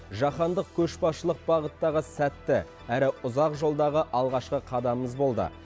жаһандық көшбасшылық бағыттағы сәтті әрі ұзақ жолдағы алғашқы қадамымыз болды